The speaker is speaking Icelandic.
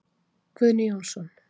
Guðni Jónsson.